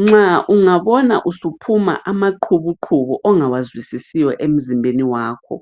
Nxa ungabona usuphuma amaqhubuqhubu ongawazwisisiyo emzimbeni wakho